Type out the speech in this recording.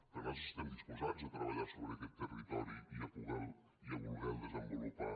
perquè nosaltres estem disposats a treballar sobre aquest territori i a voler lo desenvolupar